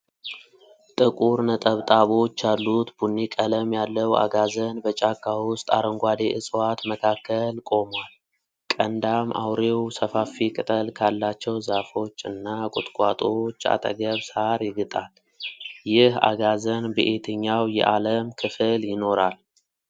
ጥቁር ነጠብጣቦች ያሉት ቡኒ ቀለም ያለው አጋዘን በጫካ ውስጥ አረንጓዴ ዕፅዋት መካከል ቆሟል። ቀንዳም አውሬው ሰፋፊ ቅጠል ካላቸው ዛፎች እና ቁጥቋጦዎች አጠገብ ሳር ይግጣል። ይህ አጋዘን በየትኛው የአለም ክፍል ይኖራል?